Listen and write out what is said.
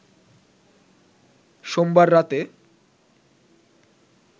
সোমবার রাতে